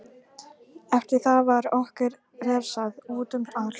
Eftir það var okkur refsað útum allt.